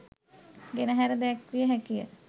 ගෙනහැර දැක්විය හැකිය.